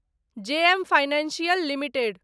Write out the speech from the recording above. जे M financial limited